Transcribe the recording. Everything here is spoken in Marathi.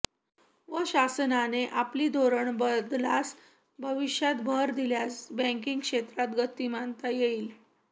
व शासनाने आपली धोरण बदलास भविष्यात भर दिल्यांस बॅकींगक्षेत्रात गतिमानता येईल